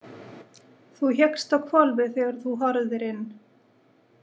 Þú hékkst á hvolfi þegar þú horfðir inn.